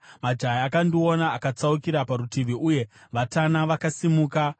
majaya akandiona akatsaukira parutivi uye vatana vakasimuka;